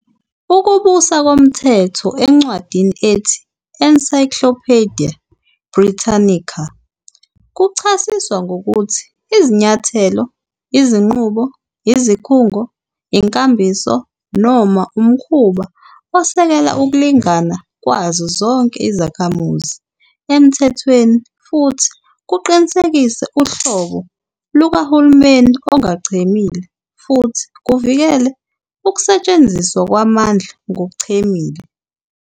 Ukubusa komthetho encwadini ethi "Encyclopedia Britannica" kuchasiswa ngokuthi "izinyathelo, izinqubo, izikhungo, inkambiso, noma umkhuba osekela ukulingana kwazo zonke izakhamuzi emthethweni, futhi kuqinisekise uhlobo lukahulumeni ongachemile, futhi kuvikele ukusetshenziswa kwamandla ngokuchemile.